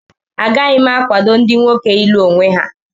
Agaghị m akwado ndị nwoke ịlụ onwe ha